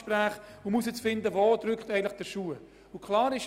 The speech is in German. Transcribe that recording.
Ich habe diese Gespräche auch persönlich geführt.